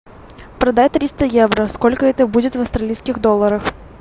продай триста евро сколько это будет в австралийских долларах